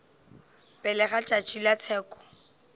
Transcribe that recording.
pele ga tšatši la tsheko